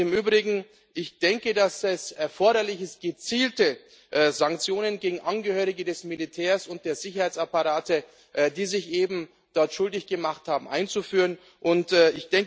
Im Übrigen Ich denke, dass es erforderlich ist, gezielte Sanktionen gegen Angehörige des Militärs und der Sicherheitsapparate, die sich eben dort schuldig gemacht haben, zu verhängen.